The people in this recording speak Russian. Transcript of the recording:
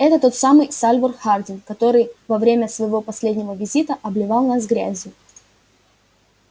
это тот самый сальвор хардин который во время своего последнего визита обливал нас грязью